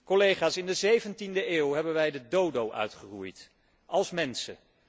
Collega's, in de zeventiende eeuw hebben wij de dodo uitgeroeid, als mensen.